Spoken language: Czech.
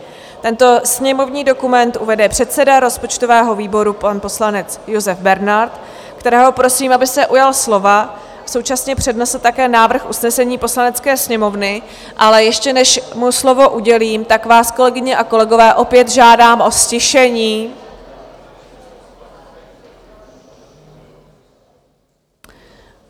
Tento sněmovní dokument uvede předseda rozpočtového výboru pan poslanec Josef Bernard, kterého prosím, aby se ujal slova, současně přednesl také návrh usnesení Poslanecké sněmovny, ale ještě než mu slovo udělím, tak vás, kolegyně a kolegové, opět žádám o ztišení.